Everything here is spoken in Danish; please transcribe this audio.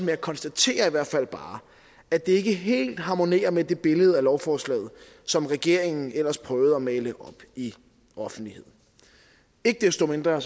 jeg konstaterer i hvert fald bare at det ikke helt harmonerer med det billede af lovforslaget som regeringen ellers prøvede at male op i offentligheden ikke desto mindre